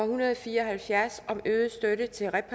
hundrede og fire og halvfjerds